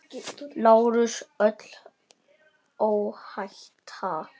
LÁRUS: Öllu óhætt!